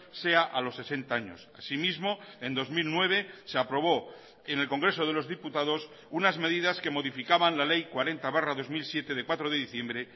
sea a los sesenta años así mismo en dos mil nueve se aprobó en el congreso de los diputados unas medidas que modificaban la ley cuarenta barra dos mil siete de cuatro de diciembre